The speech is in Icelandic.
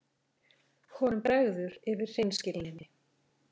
Honum bregður yfir hreinskilninni.